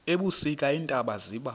ebusika iintaba ziba